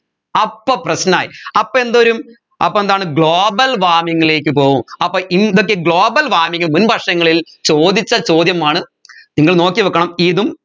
അപ്പോ പ്രശ്‌നായി അപ്പോ എന്തുവരും അപ്പൊ എന്താണ് global warming ലേക്ക് പോവും അപ്പോ ഇന്തൊക്കെ global warming മുൻ വർഷങ്ങളിൽ ചോദിച്ച ചോദ്യമാണ് നിങ്ങൾ നോക്കിവെക്കണം ഇതും